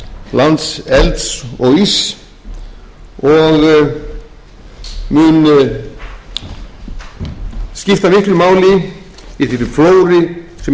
landsins lands elds og íss og mun skipta miklu máli í þeirri flóru sem íslendingar